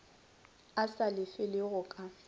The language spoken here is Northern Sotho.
a sa lefele go ka